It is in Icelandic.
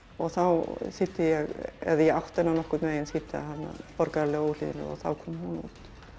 og þá þýddi ég eða átti hana nokkurn veginn þýdda borgaralega óhlýðni og þá kom hún út